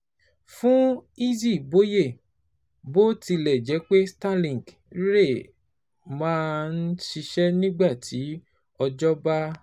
Fún Izzy Boye, bó tilẹ̀ jẹ́ pé Starlink rẹ̀ máa ń ṣiṣẹ́ nígbà tí òjò bá